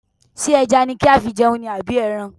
Ṣé ẹja ni kí á fi jẹun ni àbí ẹran?